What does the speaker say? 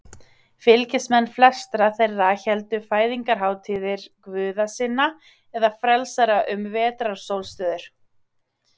Fylgismenn flestra þeirra héldu fæðingarhátíðir guða sinna eða frelsara um vetrarsólstöður.